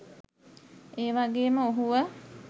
ඒවගේම ඔහුව